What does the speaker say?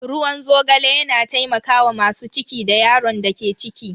Ruwan zogale yana taimakawa masu ciki da yaron da ke ciki.